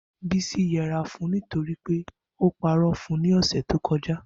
Bisi yẹra fun u nitori pe o purọ fun u ni ọsẹ to kọja.